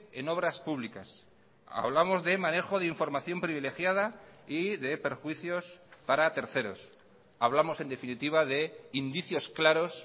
en obras públicas hablamos de manejo de información privilegiada y de perjuicios para terceros hablamos en definitiva de indicios claros